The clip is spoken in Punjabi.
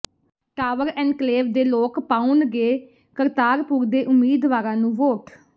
ਟਾਵਰ ਐਨਕਲੇਵ ਦੇ ਲੋਕ ਪਾਉਣਗੇ ਕਰਤਾਰਪੁਰ ਦੇ ਉਮੀਦਵਾਰਾਂ ਨੂੰ ਵੋਟ